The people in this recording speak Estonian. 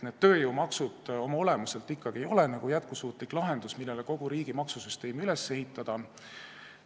Tööjõumaksud ei ole oma olemuselt ikkagi jätkusuutlik lahendus, millele kogu riigi maksusüsteemi üles ehitada.